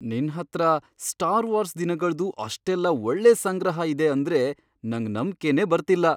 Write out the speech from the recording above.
ನಿನ್ ಹತ್ರ Star Wars ದಿನಗಳ್ದು ಅಷ್ಟೆಲ್ಲ ಒಳ್ಳೆ ಸಂಗ್ರಹ ಇದೆ ಅಂದ್ರೆ ನಂಗ್ ನಂಬ್ಕೆನೇ ಬರ್ತಿಲ್ಲ!